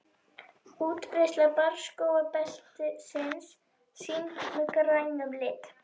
Útbreiðsla barrskógabeltisins sýnd með grænum lit.